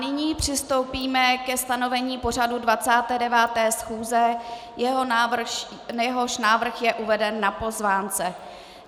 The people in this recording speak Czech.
Nyní přistoupíme ke stanovení pořadu 29. schůze, jehož návrh je uveden na pozvánce.